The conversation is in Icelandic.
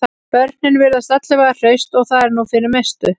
Börnin virðast alla vega hraust og það er nú fyrir mestu